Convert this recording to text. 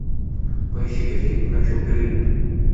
поищи ка фильм хочу в голливуд